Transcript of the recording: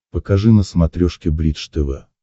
покажи на смотрешке бридж тв